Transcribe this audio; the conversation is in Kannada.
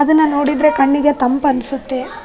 ಅದನ್ನ ನೋಡಿದ್ರೆ ಕಣ್ಣಿಗೆ ತಂಪು ಅನ್ಸುತ್ತೆ.